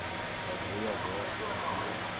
O avô e a avó estavam vivos.